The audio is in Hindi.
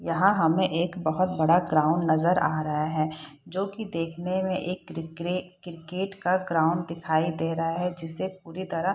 यहाँ हमें एक बहुत बड़ा ग्राउंड नजर आ रहा है जो की देखने में एक क्रिके क्रिकेट का ग्राउंड दिखाई दे रहा है जिसे पुरी तरह --